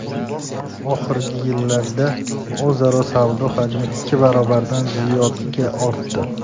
Oxirgi yillarda o‘zaro savdo hajmi ikki barobardan ziyodga ortdi.